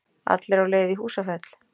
Allir á leið í Húsafell.